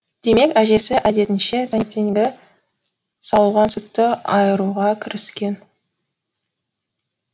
демек әжесі әдетінше таңертеңгі сауылған сүтті айыруға кіріскен